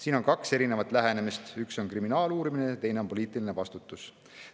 Siin on kaks erinevat lähenemist: üks on kriminaaluurimine ja teine on poliitiline vastutus.